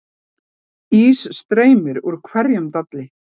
Ís streymir úr hverjum dalli